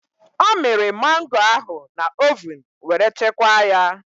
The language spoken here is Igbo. Ọ mịrị mangoo ahụ na ovun were chekwaa ya.